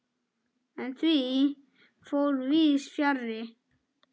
En því fór víðs fjarri.